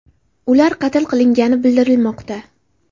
Ular qatl qilingani bildirilmoqda.